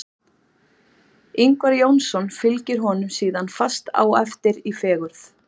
Ingvar Jónsson fylgir honum síðan fast á eftir í fegurð.